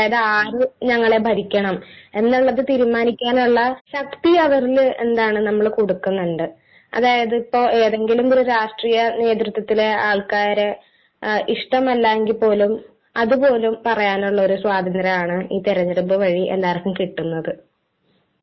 അതായത് ആര് ഞങ്ങളെ ഭരിക്കണം എന്നുള്ളത് തീരുമാനിക്കാനുള്ള ശക്തി അവരില് എന്താണ് നമ്മള് കൊടുക്കുന്നുണ്ട്. അതായത് ഇപ്പൊ ഏതെങ്കിലും ഒരു രാഷ്ട്രീയ നേതൃത്വത്തിലെ ആൾക്കാരെ ഇഷ്ടമല്ല എങ്കിപ്പോലും അതുപോലും പറയാനുള്ള ഒരു സ്വാതന്ത്ര്യം ആണ് ഈ തിരഞ്ഞെടുപ്പു വഴി എല്ലാവര്ക്കും കിട്ടുന്നത്.